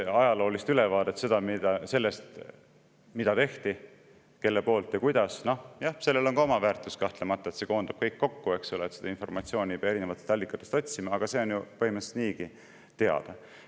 Ajaloolist ülevaadet sellest, mida tehti, kelle poolt ja kuidas – noh, jah, sellel on ka oma väärtus kahtlemata, kui see koondab kõik kokku, eks ole, ja seda informatsiooni ei pea erinevatest allikatest otsima, aga see on ju põhimõtteliselt niigi teada.